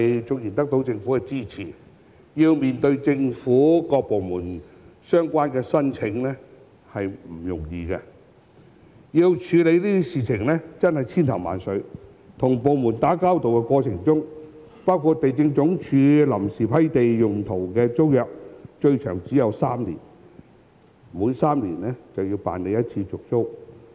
縱然得到政府的支持，要向政府各部門作出相關申請卻不容易，要處理的事亦是千頭萬緒，還要與各部門打交道，例如地政總署批出臨時土地用途的租約最長只有3年，即每3年要辦理續租一次。